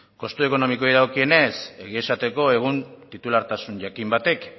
kostu ekonomikoei dagokionez egia esateko egun titulartasun jakin batek